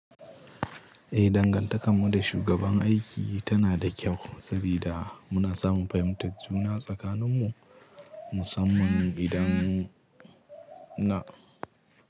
Eh, dangantakar mu da shugaban aiki tana da kyau saboda muna samun fahimtar juna tsakanin mu, musamman idan na.